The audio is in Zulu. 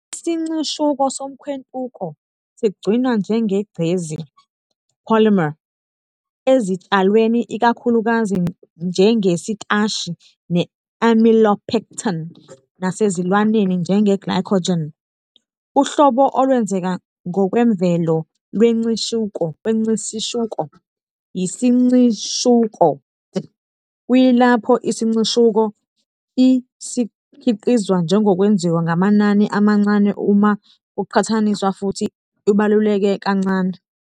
Isincishuko somkhwentuko sigcinwa njengegcezi "polymer", ezitshalweni ikakhulukazi njengesitashi ne-amylopectin, nasezilwaneni njenge-glycogen. Uhlobo olwenzeka ngokwemvelo lwesincishuko yisincishuko-d, kuyilapho isincishuko -l sikhiqizwa ngokwenziwa ngamanani amancane uma kuqhathaniswa futhi ibaluleke kancane.